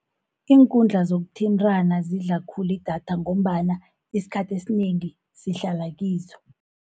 Iinkundla zokuthintana zidlala khulu idatha, ngombana isikhathi esinengi sihlala kizo.